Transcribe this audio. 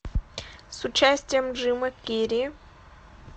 с участием джима керри